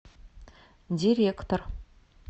директор